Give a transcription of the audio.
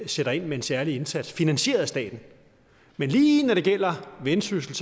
sætter ind med en særlig indsats finansieret af staten men lige når det gælder vendsyssel